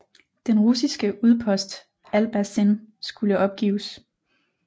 Den russiske udpost Albazin skulle opgives